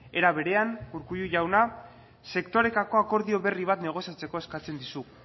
era berean urkullu jauna sektoreetako akordio berri bat negoziatzeko eskatzen dizugu